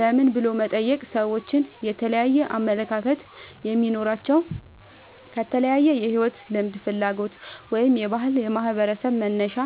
ለምን" ብሎ መጠየቅ ሰዎች የተለያየ አመለካከት የሚኖራቸው ከተለያየ የሕይወት ልምድ፣ ፍላጎት ወይም የባህልና የማኅበረሰብ መነሻ